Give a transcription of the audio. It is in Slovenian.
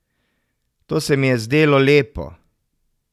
To se mi je zdelo lepo.